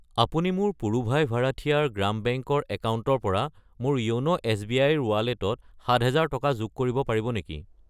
আপুনি মোৰ পুড়ুভাই ভাৰাঠিয়াৰ গ্ৰাম বেংক ৰ একাউণ্টৰ পৰা মোৰ য়োন' এছ.বি.আই. ৰ ৱালেটত 7000 টকা যোগ কৰিব পাৰিব নেকি?